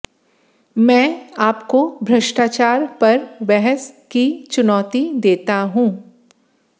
मैं आपको भ्रष्टाचार पर बहस की चुनौती देता हूं